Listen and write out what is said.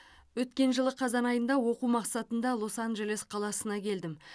өткен жылы қазан айында оқу мақсатында лос анджелес қаласына келдім